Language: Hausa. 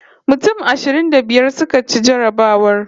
Mutum ashirin da biyar suka ci jarrabawar